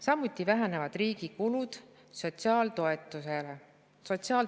Samuti vähenevad riigi kulud sotsiaaltoetustele.